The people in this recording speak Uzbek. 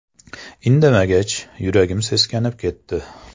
Indamagach, yuragim seskanib ketdi.